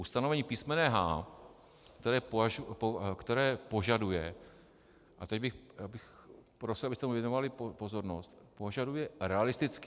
Ustanovení písm. h), které požaduje, a teď bych prosil, abyste mi věnovali pozornost, požaduje realistický...